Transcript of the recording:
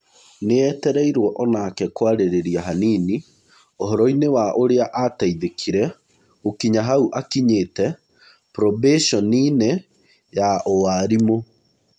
Nĩetereirwo onake kwarĩrĩrĩa hanini ũhoroi-nĩ wa ũrĩa ateithĩkire gũkinya hau akinyire probecioninĩ ya ũwarimũ.